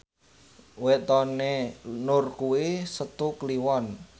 wetone Nur kuwi Setu Kliwon